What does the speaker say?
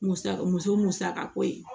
Musa muso musaka ko ye